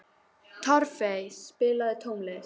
Torfey, spilaðu tónlist.